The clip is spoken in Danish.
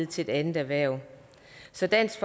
til et andet erhverv så dansk